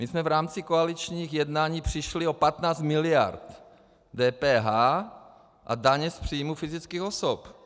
My jsme v rámci koaličních jednání přišli o 15 mld. DPH a daně z příjmu fyzických osob.